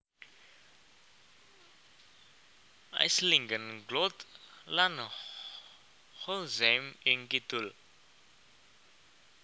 Aislingen Glott lan Holzheim ing kidul